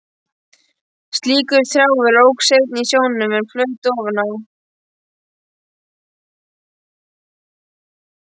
Slíkur trjáviður óx einnig í sjónum, en flaut ofan á.